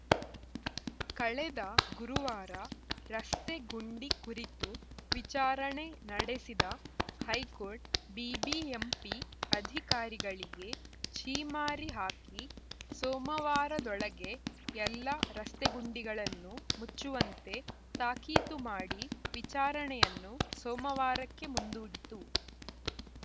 ಕಳೆದ ಗುರುವಾರ ರಸ್ತೆ ಗುಂಡಿ ಕುರಿತು ವಿಚಾರಣೆ ನಡೆಸಿದ ಹೈಕೋರ್ಟ್‌ ಬಿಬಿಎಂಪಿ ಅಧಿಕಾರಿಗಳಿಗೆ ಛೀಮಾರಿ ಹಾಕಿ ಸೋಮವಾರದೊಳಗೆ ಎಲ್ಲ ರಸ್ತೆಗುಂಡಿಗಳನ್ನು ಮುಚ್ಚುವಂತೆ ತಾಕೀತು ಮಾಡಿ ವಿಚಾರಣೆಯನ್ನು ಸೋಮವಾರಕ್ಕೆ ಮುಂದೂಡಿತು